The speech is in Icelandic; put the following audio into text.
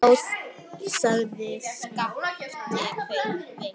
Já, sagði Skapti veikt.